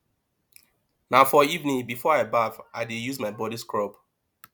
na for evening before i baff i dey use my body scrub